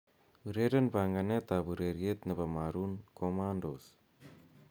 ureren panganet ab ureryet nebo maroon commandos